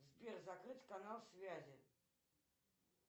сбер закрыть канал связи